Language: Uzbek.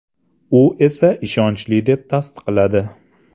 U esa ishonchli deb tasdiqladi.